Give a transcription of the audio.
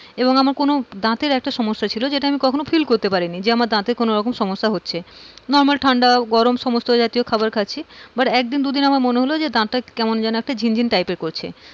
এবং আমার কোন দাঁতের একটা সমস্যা ছিল যেটা আমি কখনো feel করতে পারিনি, যে আমার দাঁতের কোন সমস্যা হচ্ছে। না আমার normal ঠান্ডা গরম সমস্থ খাবার খাচ্ছি but একদিন দুদিন আমার মনে হল যে দাঁতটা কেমন যেন একটা ঝিনঝিন type এর করছে।